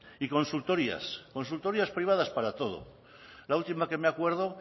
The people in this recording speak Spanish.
y consultorías consultorías privadas para todo la última que me acuerdo